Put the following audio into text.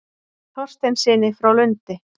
Þorsteinssyni frá Lundi.